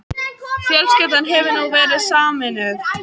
Fjölskyldan hefur nú verið sameinuð